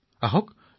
হয় ৰাম কওক